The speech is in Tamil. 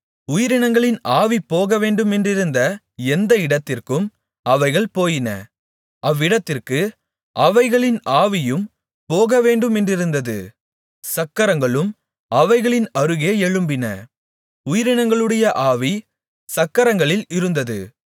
உயிரினங்களின் ஆவி போகவேண்டுமென்றிருந்த எந்த இடத்திற்கும் அவைகள் போயின அவ்விடத்திற்கு அவைகளின் ஆவியும் போகவேண்டுமென்றிருந்தது சக்கரங்களும் அவைகளின் அருகே எழும்பின உயிரினங்களுடைய ஆவி சக்கரங்களில் இருந்தது